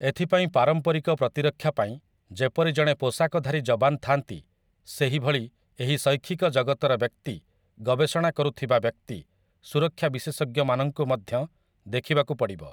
ଏଥିପାଇଁ ପାରମ୍ପରିକ ପ୍ରତିରକ୍ଷା ପାଇଁ ଯେପରି ଜଣେ ପୋଷାକଧାରୀ ଯବାନ ଥାଆନ୍ତି, ସେହିଭଳି ଏହି ଶୈକ୍ଷିକ ଜଗତର ବ୍ୟକ୍ତି, ଗବେଷଣା କରୁଥିବା ବ୍ୟକ୍ତି, ସୁରକ୍ଷା ବିଶେଷଜ୍ଞମାନଙ୍କୁ ମଧ୍ୟ ଦେଖିବାକୁ ପଡ଼ିବ ।